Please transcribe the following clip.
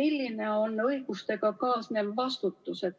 milline on õigustega kaasnev vastutus.